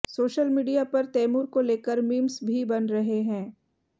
social media पर तैमूर को लेकर मीम्स भी बन रहे हैं